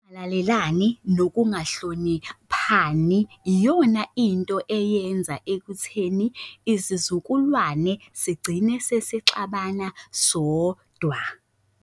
Ukungalalelani nokungahloniphani iyona into eyenza ekutheni izizukulwane sigcine sesixabana sodwa.